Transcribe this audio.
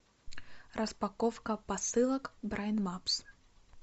распаковка посылок брайан мапс